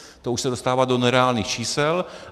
To už se dostává do nereálných čísel.